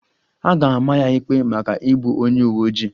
A ga-ama ya ikpe maka igbu onye uwe ojii